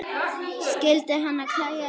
Skyldi hana klæja í tærnar?